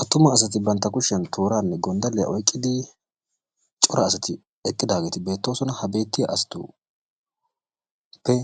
Attuma asati bantta kushiyan tooraanne gonddalliya oyqqidi cora asati eqqidaageeti beettoosona. Ha beettiya asatuppe